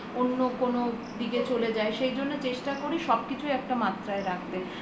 অন্য কোনো দিকে চলে যায় সে জন্য চেষ্টা করি সবকিছুই একটা মাত্রায় রাখতে